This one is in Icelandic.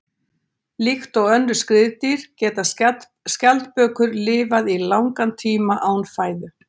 Líkt og önnur skriðdýr geta skjaldbökur lifað í langan tíma án fæðu.